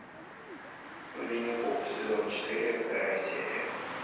винни пух сезон четыре вторая серия